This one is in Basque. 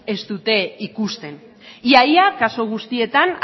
ez dute ikusten ia ia kasu guztietan